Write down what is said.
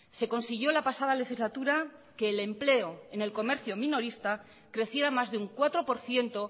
se consiguió la pasada legislatura que el empleo en el comercio minorista creciera más de un cuatro por ciento